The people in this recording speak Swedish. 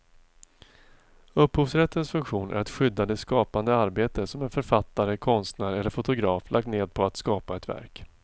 Upphovsrättens funktion är att skydda det skapande arbete som en författare, konstnär eller fotograf lagt ned på att skapa ett verk.